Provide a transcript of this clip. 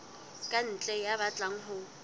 ka ntle ya batlang ho